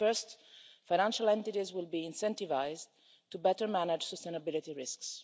First, financial entities will be incentivised to better manage sustainability risks.